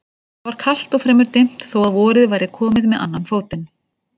Það var kalt og fremur dimmt þó að vorið væri komið með annan fótinn.